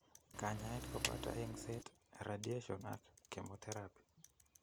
Kanyaeet koboto eng'seet, radiation ak chemoterapy